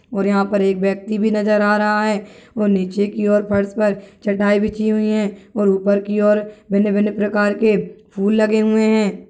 और यहा पर एक व्यक्ति भी नजर आ रहा है और नीचे की और फर्श पर चटाई बिछी हुई है और ऊपर की और भिन्न भिन्न प्रकार के फूल लगे हुए है।